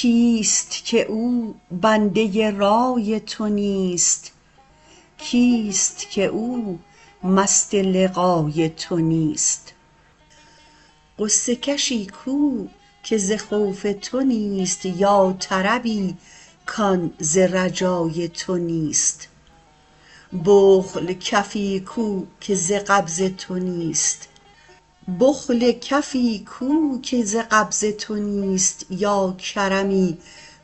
کیست که او بنده رای تو نیست کیست که او مست لقای تو نیست غصه کشی کو که ز خوف تو نیست یا طربی کان ز رجای تو نیست بخل کفی کو که ز قبض تو نیست یا کرمی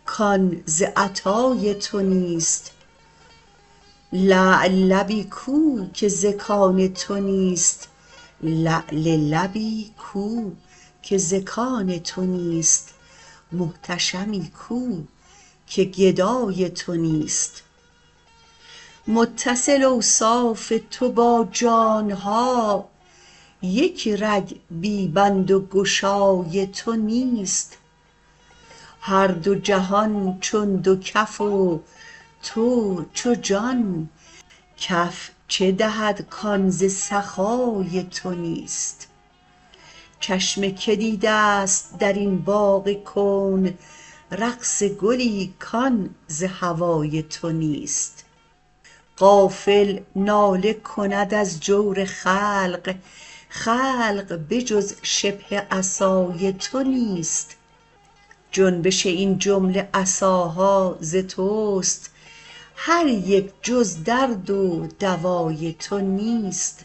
کان ز عطای تو نیست لعل لبی کو که ز کان تو نیست محتشمی کو که گدای تو نیست متصل اوصاف تو با جان ها یک رگ بی بند و گشای تو نیست هر دو جهان چون دو کف و تو چو جان کف چه دهد کان ز سخای تو نیست چشم کی دیدست در این باغ کون رقص گلی کان ز هوای تو نیست غافل ناله کند از جور خلق خلق به جز شبه عصای تو نیست جنبش این جمله عصاها ز توست هر یک جز درد و دوای تو نیست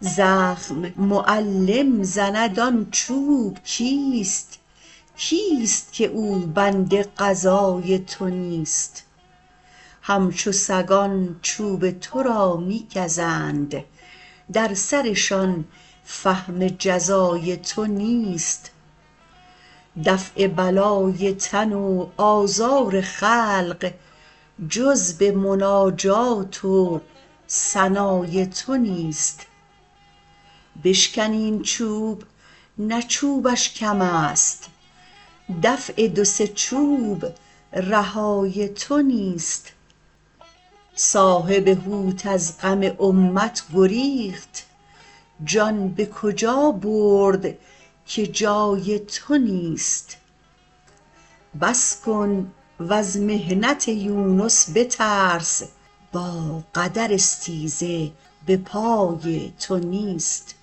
زخم معلم زند آن چوب کیست کیست که او بند قضای تو نیست همچو سگان چوب تو را می گزند در سرشان فهم جزای تو نیست دفع بلای تن و آزار خلق جز به مناجات و ثنای تو نیست بشکنی این چوب نه چوبش کمست دفع دو سه چوب رهای تو نیست صاحب حوت از غم امت گریخت جان به کجا برد که جای تو نیست بس کن وز محنت یونس بترس با قدر استیزه به پای تو نیست